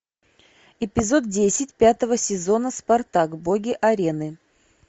эпизод десять пятого сезона спартак боги арены